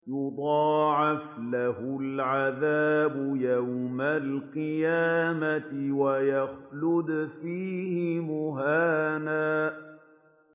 يُضَاعَفْ لَهُ الْعَذَابُ يَوْمَ الْقِيَامَةِ وَيَخْلُدْ فِيهِ مُهَانًا